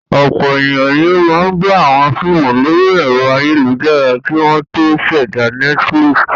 Ọ̀pọ̀ ènìyàn ni ó máa gba àwọn fíímù lórí ẹ̀rọ ayélujára kí wọ́n tó ṣẹ̀dá Netflix.